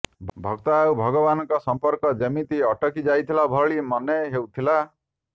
ଭକ୍ତ ଆଉ ଭଗବାନଙ୍କ ସମ୍ପର୍କ ଯେମିତି ଅଟକି ଯାଇଥିଲା ଭଳି ମନେ ହେଉଥିଲା